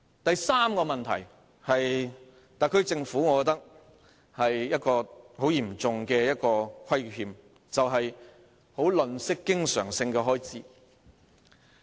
第三個問題，我認為是特區政府對我們的嚴重虧欠，便是吝嗇經常開支。